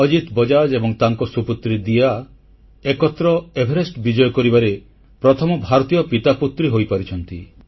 ଅଜିତ ବଜାଜ ଏବଂ ତାଙ୍କ ସୁପୁତ୍ରୀ ଦିୟା ଏକତ୍ର ଏଭେରେଷ୍ଟ ବିଜୟ କରିବାରେ ପ୍ରଥମ ଭାରତୀୟ ପିତାପୁତ୍ରୀ ହୋଇପାରିଛନ୍ତି